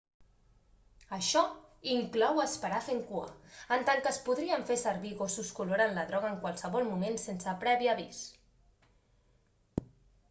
això inclou esperar fent cua en tant que es podrien fer servir gossos que oloren la droga en qualsevol moment sense previ avís